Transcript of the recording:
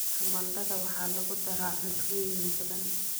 Tamaandhada waxaa lagu daraa cuntooyin badan.